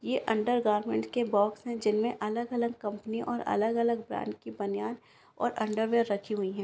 ये अन्डरगार्मन्ट के बॉक्स हैं जिनमें अलग-अलग कंपनी और अलग-अलग ब्रांड की बनियान और अन्डरवियर रखी हुई हैं।